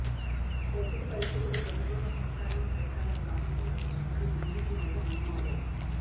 ప్రస్తుత పరిస్థితుల్లో ప్రభుత్వంలో కొనసాగడం సరికాదని భావిస్తున్నట్లు చెప్పారు బీజేపీ నేత రామ్ మాధవ్